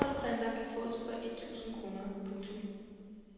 En ninålprinter kan fås for et tusind kroner. punktum